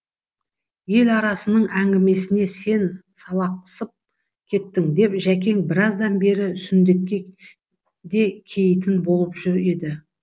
ел арасының әңгімесіне сен салақсып кеттің деп жәкең біраздан бері сүндетке де кеийтін болып жүр еді